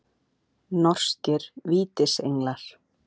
Norskir Vítisenglar.